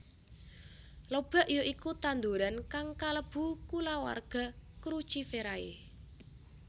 Lobak ya iku tanduran kang kalebu kulawarga Cruciferae